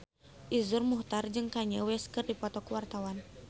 Iszur Muchtar jeung Kanye West keur dipoto ku wartawan